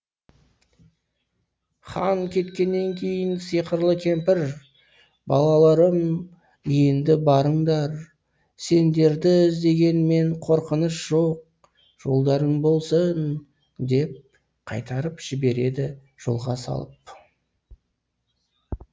хан кеткеннен кейін сиқырлы кемпір балаларым енді барыңдар сендерді іздегенмен қорқыныш жоқ жолдарың болсын деп қайтарып жібереді жолға салып